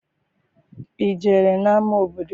I jere n'ama obodo?